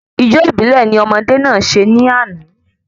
Ijó ìbílè ni ọmọdé náà se ní àná